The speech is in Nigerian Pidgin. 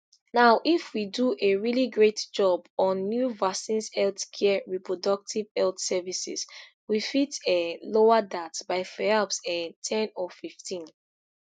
now if we do a really great job on new vaccines health care reproductive health services we fit um lower dat by perhaps um ten or fifteen